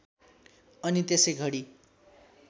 अनि त्यसै घडी